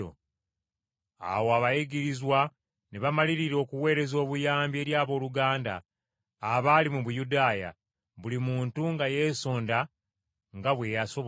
Awo abayigirizwa ne bamalirira okuweereza obuyambi eri abooluganda abaali mu Buyudaaya, buli muntu nga yeesonda nga bwe yasobola,